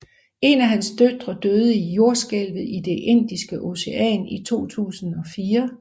En af hans døtre døde i Jordskælvet i Det Indiske Ocean i 2004